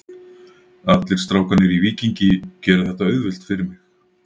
Allir strákarnir í Víkingi gera þetta auðvelt fyrir mig.